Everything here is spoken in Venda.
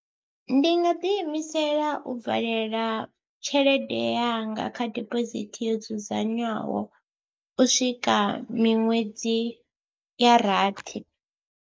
Ndi nga ḓiimisela u valela tshelede yanga kha dibosithi yo dzudzanywaho u swika miṅwedzi ya rathi.